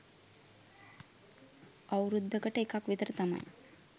අවුරුද්දකට එකක් විතර තමයි